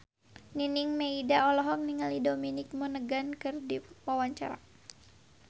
Nining Meida olohok ningali Dominic Monaghan keur diwawancara